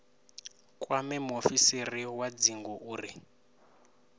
kwame muofisiri wa dzingu uri